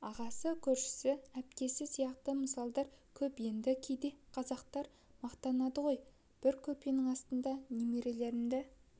ағасы көршісі әпкесі сияқты мысалдар көп енді кейде қазақтар мақтанады ғой бір көрпенің астына немеремді